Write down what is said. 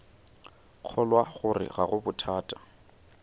kgolwa gore ga go bothata